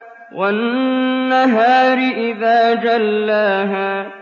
وَالنَّهَارِ إِذَا جَلَّاهَا